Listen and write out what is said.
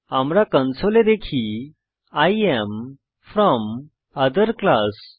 আমরা কনসোলে দেখি I এএম ফ্রম ওঠের ক্লাস